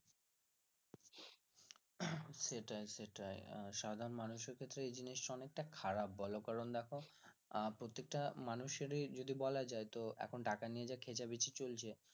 সেটাই সেটাই সাধারণ মানুষের ক্ষেত্রে এই জিনিসটা অনেকটা খারাপ বলো কারন দেখো প্রত্যেকটা মানুষের ই যদি বলা তো এখন টাকা নিয়ে যা খেচা বেশি চলছে